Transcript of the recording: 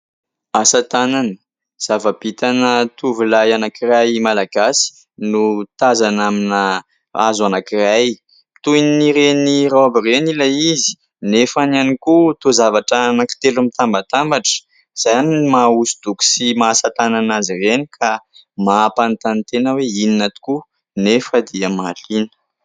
Asatanana : zava-bitana tovolahy anankiray Malagasy, no tazana amina hazo anankiray, toy ireny raoby ireny ilay izy nefa ihany koa toa zavatra anankitelo mitambatambatra, izany ny maha hosodoko sy maha asatanana azy ireny ka mampanontany tena hoe : inona tokoa, nefa dia mahaliana.